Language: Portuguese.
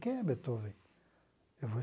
Quem é Beethoven? Eu vou